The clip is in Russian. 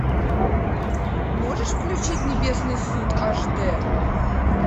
можешь включить небесный суд аш дэ